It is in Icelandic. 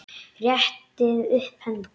Réttið upp hönd.